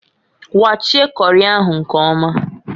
Kwachie kori ahụ nkọmaǃ